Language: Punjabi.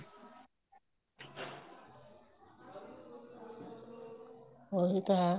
ਉਹੀ ਤਾਂ ਹੈ